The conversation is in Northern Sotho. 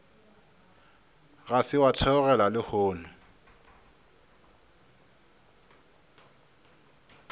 ga se wa theogela lehono